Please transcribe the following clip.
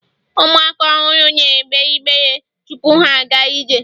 ụmụaka ọhụrụ na egbe ibere tupu ha aga ije